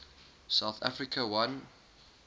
south africa won